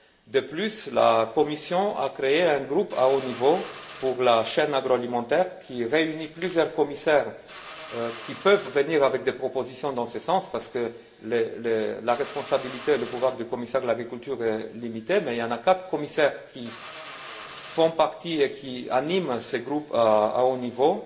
De plus, la Commission a créé un groupe de haut niveau pour la chaîne agroalimentaire qui réunit plusieurs commissaires qui peuvent venir avec des propositions dans ce sens parce que la responsabilité et le pouvoir du commissaire à l'agriculture est limité mais il y a quatre commissaires qui font partie de ces groupes et qui animent ces groupes de haut niveau